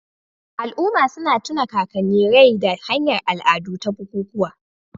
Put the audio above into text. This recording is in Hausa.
Al'umma suna tuna kakanni rai ta hanyar al'adu da bukukuwa.